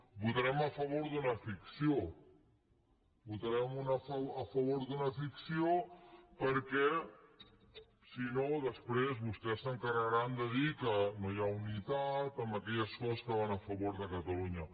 votarem a favor d’una ficció votarem a favor d’una ficció perquè si no després vostès s’encarregaran de dir que no hi ha unitat en aquelles coses que van a favor de catalunya